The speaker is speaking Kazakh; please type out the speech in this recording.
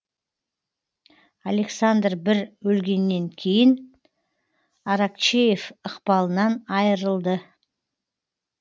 александр бір өлгеннен кейін аракчеев ықпалынан айрылды